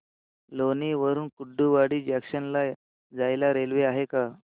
लोणी वरून कुर्डुवाडी जंक्शन ला जायला रेल्वे आहे का